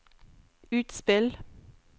utspill